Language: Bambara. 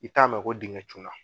I t'a mɛn ko dingɛ cun na